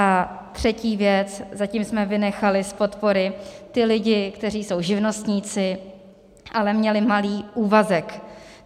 A třetí věc, zatím jsme vynechali z podpory ty lidi, kteří jsou živnostníci, ale měli malý úvazek.